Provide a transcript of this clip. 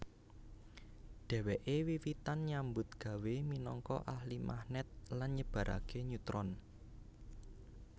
Dheweke wiwitan nyambut gawé minangka ahli magnet lan nyebarake neutron